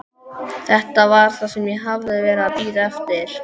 Þetta var það sem ég hafði verið að bíða eftir.